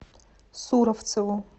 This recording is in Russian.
суровцеву